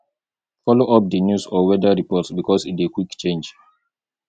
follow up di news or weather report because e dey quick change